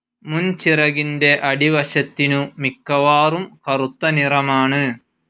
മുൻചിറകിന്റെ അടിവശത്തിനു മിക്കവാറും കറുത്തനിറമാണ്.